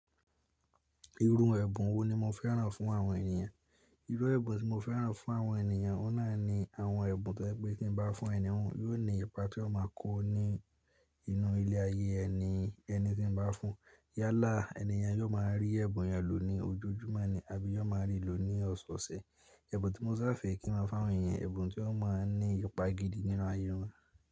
Irun ẹ̀bùn wo ni mo fẹ́ràn fún àwọn ènìyàn? Irú ẹ̀bùn tí mo fẹ́ràn fún àwọn ènìyàn, ó náà ni àwọn ẹ̀bùn tí ẹ pé kí n bá fún ẹni hun, yóò ní ipa tí ó máa kó ni inú ilé ayé ẹni, ẹni tí n bá fún. Yálà ènìyàn yóò máa rí ẹ̀bùn yẹn lò ní ojojúmọ́ ni àbí yóò máa rí lò ní ọ̀sọ̀ọ̀sẹ̀. Ẹ̀bùn tí mo sá fẹ́ kí n máa fáwọn ènìyàn, ẹ̀bùn tí ó máa ń ní ipa gidi nínú ayé wọn.